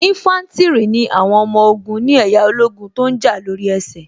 Ínfántìrì ni àwọn ọmọ ogun ni ẹ̀yà ológun tó ǹ jà lóri ẹsẹ̀